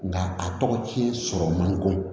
Nga a tɔgɔ ci sɔrɔ man nɔgɔn